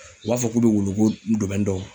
U b'a fɔ k'u bɛ wulu ko dɔn.